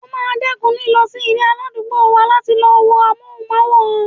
O máa dẹ́kun lílọ sí ilé aládùúgbò wa láti lọ wo amóhùnmáwòrán.